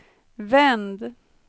vänd